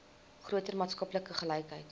groter maatskaplike gelykheid